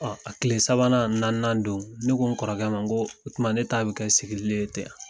a tile sabanan ani naannan don, ne ko n kɔrɔkɛ ma nko o tuma ne ta be kɛ sigili le ye ten a?